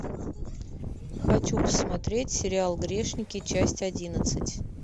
хочу посмотреть сериал грешники часть одиннадцать